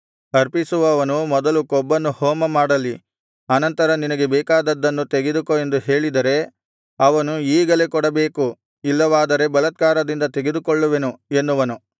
ಅರ್ಪಿಸುವವನು ಮೊದಲು ಕೊಬ್ಬನ್ನು ಹೋಮಮಾಡಲಿ ಅನಂತರ ನಿನಗೆ ಬೇಕಾದದ್ದನ್ನು ತೆಗೆದುಕೋ ಎಂದು ಹೇಳಿದರೆ ಅವನು ಈಗಲೇ ಕೊಡಬೇಕು ಇಲ್ಲವಾದರೆ ಬಲಾತ್ಕಾರದಿಂದ ತೆಗೆದುಕೊಳ್ಳುವೆನು ಎನ್ನುವನು